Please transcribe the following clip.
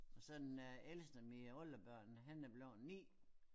Og så den er ældste af mine oldebørn han er blevet 9